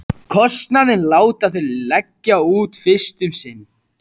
Kostnaðinn láta þeir leggja út fyrst um sinn.